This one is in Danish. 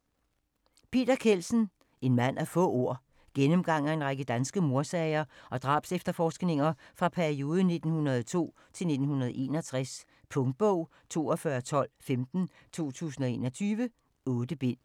Kjeldsen, Peter: En mand af få ord Gennemgang af en række danske mordsager og drabsefterforskninger fra perioden 1902-1961. Punktbog 421215 2021. 8 bind.